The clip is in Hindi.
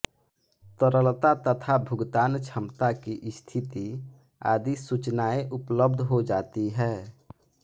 तरलता तथा भुगतान क्षमता की स्थिति आदि सूचनाएं उपलब्ध हो जाती है